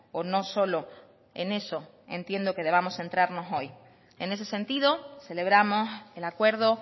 o no solo en eso entiendo que debamos centrarnos hoy en ese sentido celebramos el acuerdo